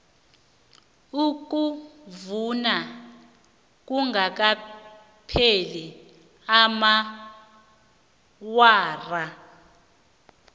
ukuvunywa kungakapheli amaawara